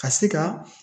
Ka se ka